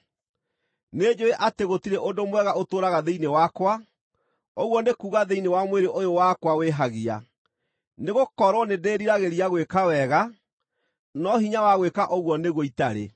Nĩnjũũĩ atĩ gũtirĩ ũndũ mwega ũtũũraga thĩinĩ wakwa, ũguo nĩ kuuga thĩinĩ wa mwĩrĩ ũyũ wakwa wĩhagia. Nĩgũkorwo nĩndĩriragĩria gwĩka wega, no hinya wa gwĩka ũguo nĩguo itarĩ.